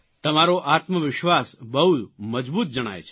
તમારો આત્મવિશ્વાસ બહુ મજબૂત જણાય છે